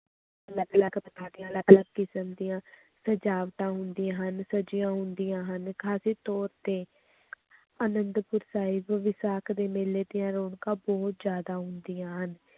ਅਲੱਗ ਅਲੱਗ ਅਲੱਗ ਅਲੱਗ ਕਿਸਮ ਦੀਆਂ ਸਜਾਵਟਾਂ ਹੁੰਦੀਆਂ ਹਨ, ਸਜੀਆਂ ਹੁੰਦੀਆਂ ਹਨ, ਖ਼ਾਸ ਤੌਰ ਤੇ ਆਨੰਦਪੁਰ ਸਾਹਿਬ ਵਿਸਾਖ ਦੇ ਮੇਲੇ ਦੀਆਂ ਰੌਣਕਾਂ ਬਹੁਤ ਜ਼ਿਆਦਾ ਹੁੰਦੀਆਂ ਹਨ,